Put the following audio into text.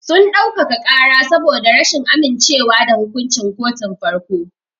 Sun dau-kaka ƙaran saboda rashin amince wa da hukunci kotun farko.